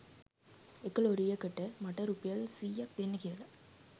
එක ලොරියකට මට රුපියල් සියයක්‌ දෙන්න කියලා